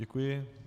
Děkuji.